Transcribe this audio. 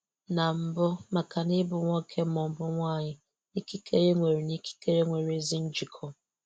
Na mbụ, maka na ịbụ nwoke ma ọ bụ nwanyị na ikikere nwere na ikikere nwere ezi njikọ.